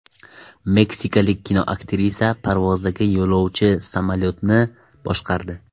Meksikalik kinoaktrisa parvozdagi yo‘lovchi samolyotni boshqardi.